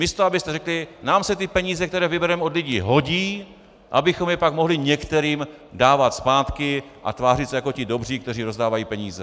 Místo abyste řekli: nám se ty peníze, které vybereme od lidí, hodí, abychom je pak mohli některým dávat zpátky a tvářit se jako ti dobří, kteří rozdávají peníze.